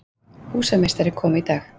Húsameistari kom í dag.